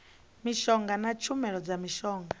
mishonga na tshumelo dza mishonga